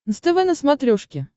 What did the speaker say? нств на смотрешке